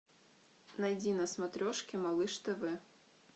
найди на смотрешке малыш тв